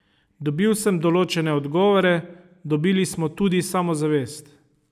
Dobil sem določene odgovore, dobili smo tudi samozavest.